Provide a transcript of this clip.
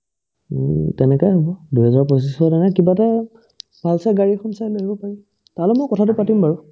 উম্, তেনেকাই হ'ব দুইহাজাৰ পঁচিশ মানে কিবা এটা pulsar গাড়ীখন চাই ল'ব পাৰি তাহ'লে মই কথাতো পাতিম বাৰু